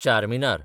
Charminar